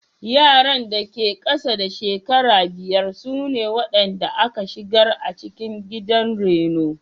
Yaran da ke ƙasa da shekaru biyar sune waɗanda aka shigar a cikin gidan raino.